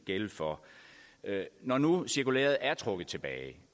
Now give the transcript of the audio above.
gælde for når nu cirkulæret er trukket tilbage